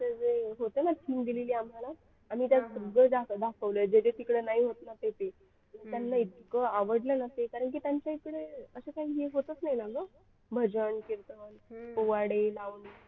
जे होतं ना theme दिली आम्हाला आणि त्यात सगळं दाखवलं जे जे तिकडे नाही होत ना ते दे त्यांना एक इतका आवडलं ना ते कारण की त्यांच्याकडे असं काहीही होतच नाही ना ग भजन कीर्तन पोवाडे लावणी